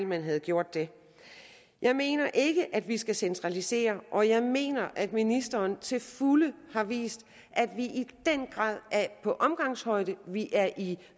man havde gjort det jeg mener ikke at vi skal centralisere og jeg mener at ministeren til fulde har vist at vi i den grad er på omgangshøjde og at vi er i